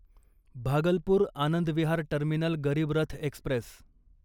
Bhagalpur Anand Vihar terminal Garib Rath Express